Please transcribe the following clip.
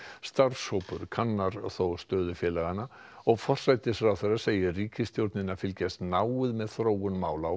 starfshópur kannar þó stöðu félaganna og forsætisráðherra segir ríkisstjórnina fylgjast náið með þróun mála á